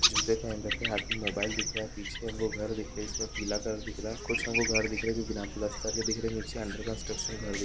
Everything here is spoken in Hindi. जूते पेहन रखे हैं हाथ में मोबाइल दिख रहा है पीछे हमको घर दिख रहे जिसमे पिला कलर दिख रहा कुछ घर दिख रहे हैं जो बिना प्लास्टर के दिख रहे हैं नीचे अंडर कंस्ट्रक्शन घर--